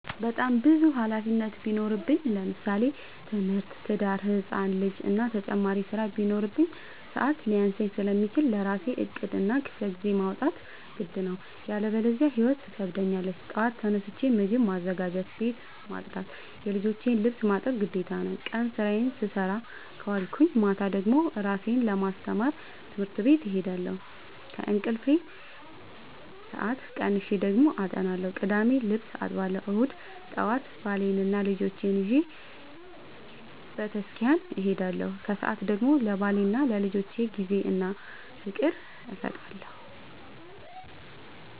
በጣም ብዙ ሀላፊነት ቢኖርብኝ ለምሳሌ፦ ትምህርት፣ ትዳር፣ ህፃን ልጂ እና ተጨማሪ ስራ ቢኖርብኝ። ሰዐት ሊያንሰኝ ስለሚችል ለራሴ ዕቅድ እና ክፍለጊዜ ማውጣት ግድ ነው። ያለበዚያ ህይወት ትከብደኛለች ጠዋት ተነስቼ ምግብ ማዘጋጀት፣ ቤት መፅዳት የልጆቼን ልብስ ማጠብ ግዴታ ነው። ቀን ስራዬን ስሰራ ከዋልኩኝ ማታ ደግሞ እራሴን ለማስተማር ትምህርት ቤት እሄዳለሁ። ከእንቅልፌ ሰአት ቀንሼ ደግሞ አጠናለሁ ቅዳሜ ልብስ አጥባለሁ እሁድ ጠዋት ባሌንና ልጆቼን ይዤ በተስኪያን እሄዳለሁ። ከሰዓት ደግሞ ለባሌና ለልጆቼ ጊዜ እና ፍቅር እሰጣለሁ።